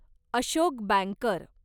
Ashok banker